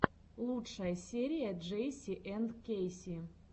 лучшая серия джейси энд кэйси